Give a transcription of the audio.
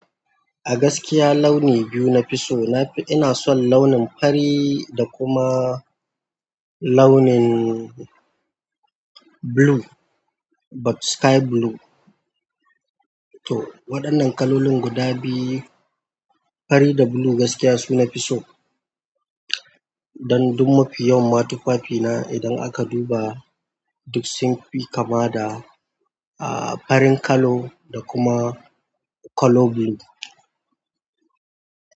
A gaskiya launi biyu nafi so. Ina son launin fari da kuma launin blue wato sky blue to waɗannan kalolin guda biyu, fari da blue gaskiya su nafi so. Dan duk mafi yawan tufafina idan a ka duba duk sun fi kama da farin kalo da kuma kalo blue.